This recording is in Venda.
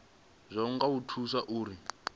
zwazwo kha u thusa uri